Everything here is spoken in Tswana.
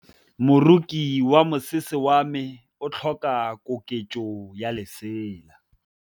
Moroki wa mosese wa me o tlhoka koketsô ya lesela.